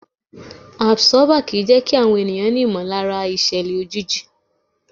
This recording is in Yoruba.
Àbsọ́bà kì í jẹ́kí àwọn ènìyàn ní ìmọ̀lára ìṣẹ̀lẹ̀ òjijì.